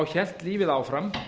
hélt lífið áfram